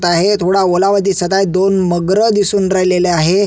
त आहे थोडा ओलावा दिसत आहे दोन मगर दिसून राहिलेलं आहे.